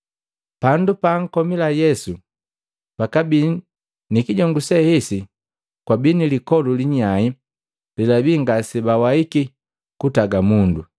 Pandu paakomila Yesu pakabii ni kijongu, ni kijongu se hesi kwabii lipoli linyai lelabii ngasebawaiki kuntagi mundu.